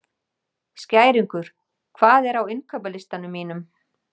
Skæringur, hvað er á innkaupalistanum mínum?